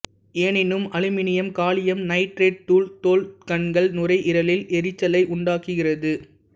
எனினும் aluminium gallium nitride தூள் தோல் கண்கள் நுரையீரலில் எரிச்சலை உண்டாக்குகிறது